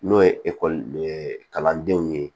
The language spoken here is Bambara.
N'o ye ekɔli kalandenw ye